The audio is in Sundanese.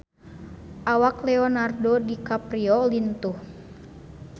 Awak Leonardo DiCaprio lintuh